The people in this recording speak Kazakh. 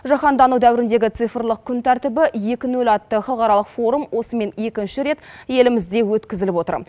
жаһандану дәуіріндегі цифрлық күн тәртібі екі нөл атты халықаралық форум осымен екінші рет елімізде өткізіліп отыр